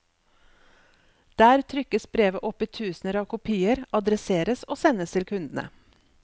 Der trykkes brevet opp i tusener av kopier, adresseres og sendes til kundene.